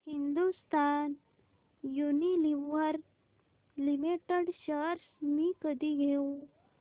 Hindustan Unilever limited shares मी कधी घेऊ